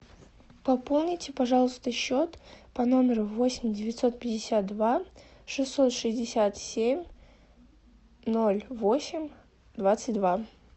пополните пожалуйста счет по номеру восемь девятьсот пятьдесят два шестьсот шестьдесят семь ноль восемь двадцать два